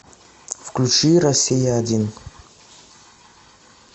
включи россия один